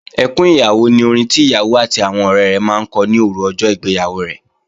Ẹkún ìyàwó ni orin tí ìyàwó àti àwọn ọ̀rẹ rẹ̀ máa ń kọ ní òru ọjọ́ ìgbéyàwó rẹ̀